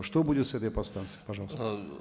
что будет с этой подстанцией пожалуйста